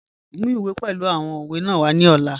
Mu iwe pẹlu awọn owe naa wa ni ọla.